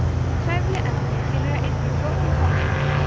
trefjaefni tilheyra einnig flóknum kolvetnum